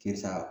Sisan